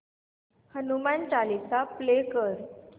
Hanuman Chalisa play कर